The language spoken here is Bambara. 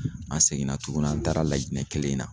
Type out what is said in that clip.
An seginna tuguni an taara LAJINƐ kelen in na.